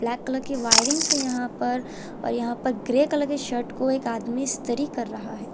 Black colour की wirings है यहां पर और यहां पर ग्रे कलर की शर्ट को एक आदमी इस्त्री कर रहा है।